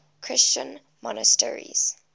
christian monasteries